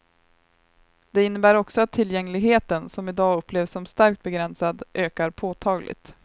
Det innebär också att tillgängligheten, som i dag upplevs som starkt begränsad, ökar påtagligt.